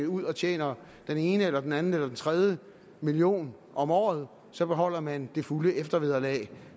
ud og tjener den ene eller den anden eller den tredje million om året så beholder man det fulde eftervederlag